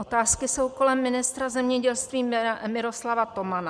Otázky jsou kolem ministra zemědělství Miroslava Tomana.